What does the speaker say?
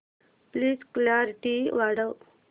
please clarity वाढव